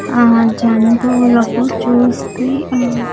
ఆ జంతువులకు చూస్తీ ఆ.